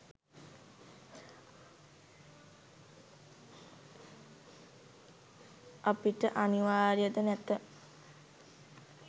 අපට අනිවාර්ය ද නැත.